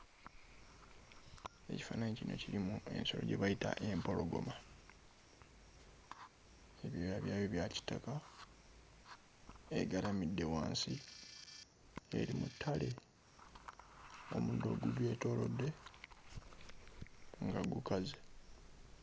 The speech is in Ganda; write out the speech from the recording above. Ekifaananyi kino kirimu ensolo gye bayita empologoma ebyoya byayo bya kitaka egalamidde wansi eri mu ttale omuddo ogugyetoolodde nga gukaze.